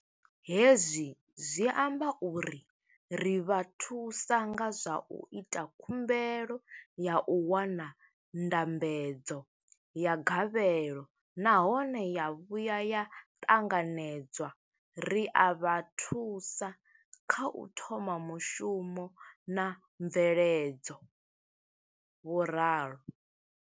Hezwi zwi amba uri ri vha thusa nga zwa u ita khumbelo ya u wana ndambedzo ya gavhelo nahone ya vhuya ya ṱanganedzwa, ri a vha thusa kha u thoma mushumo na mveledzo, vho ralo.